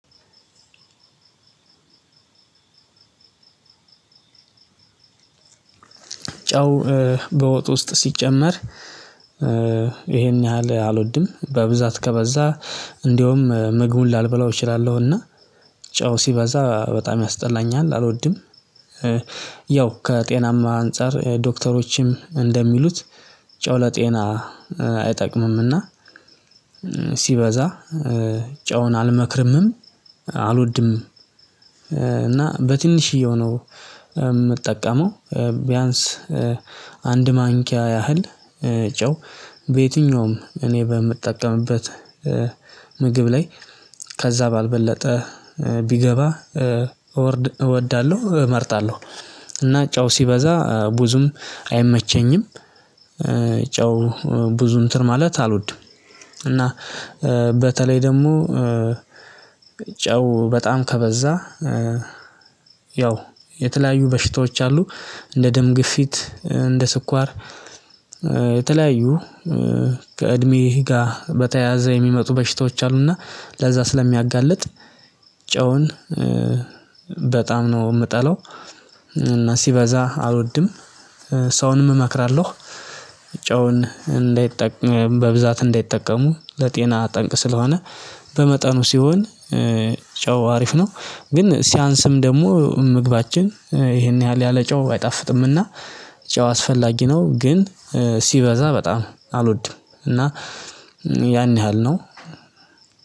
ጨው በወጥ ውስጥ ሲጨመር ይሄን ያህል አልወድም በብዛት ከበዛ እንደውም ምግቡን ላልበላው እችላለሁና ጨው ሲበዛ በጣም ያስጠላኛል አልወድም። ያው ከጤናም አንፃር ዶክተሮችም እንደሚሉት ጨው ለጤና አይጠቅምምና ሲበዛ ጨውን አልመክርምም አልወድም። እና በትንሽዬው ነው ምጠቀመው ቢያንስ አንድ ማንኪያ ያህል ጨው በየትኛውም እኔ በምጠቀምበት ምግብ ላይ ከዛ ባልበለጠ ቢገባ እወዳለሁ እመርጣለሁ እና ጨው ሲበዛ ብዙም አይመቸኝም። ጨው ብዙ እንትን ማለት አልወድም እና በተለይ ደግሞ ጨው በጣም ከበዛ ያው የተለያዩ በሽታዎች አሉ እንደ ደም ግፊት እንደ ስኳር የተለያዩ ከእድሜህ ጋር በተያያዘ የሚመጡ በሽታዎች አሉና ለዛ ስለሚያጋልጥ ጨውን በጣም ነው ምጠላው እና ሲበዛ አልወድም። ሰውንም እመክራለሁ ጨውን እንዳይጠቀም በብዛት እንዳይጠቀሙ ለጤና ጠንቅ ስለሆነ በመጠኑ ሲሆን ጨው አሪፍ ነው። ግን ሲያንስም ደግሞ ምግባችን ይሄን ያህል ያለ ጨው አይጣፍጥምና ጨው አስፈላጊ ነው ግን ሲበዛ በጣም አልወድም። እና ያን ያህል ነው።